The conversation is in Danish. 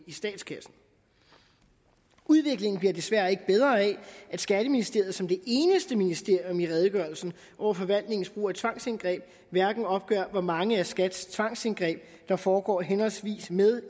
i statskassen udviklingen bliver desværre ikke bedre af at skatteministeriet som det eneste ministerium ifølge redegørelsen over forvaltningens brug af tvangsindgreb hverken opgør hvor mange af skats tvangsindgreb der foregår henholdsvis med